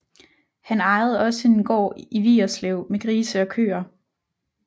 Han ejede også en gård i Vigerslev med grise og køer